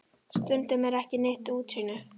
Stundum er ekki neitt útsýni!